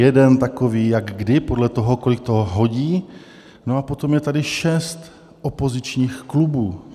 Jeden takový, jak kdy, podle toho, kolik to hodí, no a potom je tady šest opozičních klubů.